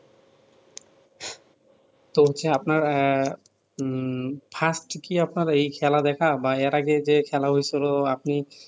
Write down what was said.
তো হচ্ছে আপনার এ উম fast কি আপনার এই খেলা দেখা বা এর আগে যে খেলা হয়েছিলো আপনি